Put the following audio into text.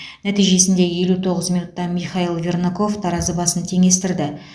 нәтижесінде елу тоғыз минутта михаил вернаков таразы басын теңестірді